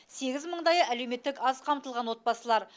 сегіз мыңдайы әлеуметтік аз қамтылған отбасылар